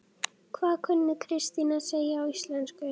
Hvað kunni Kristín að segja á íslensku?